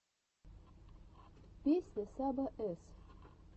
песня саба эс